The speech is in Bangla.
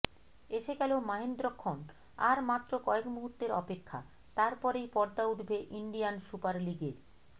এসে গেল মাহেন্দ্রক্ষণ আর মাত্র কয়েক মুহূর্তের অপেক্ষা তারপরেই পর্দা উঠবে ইন্ডিয়ান সুপার লিগের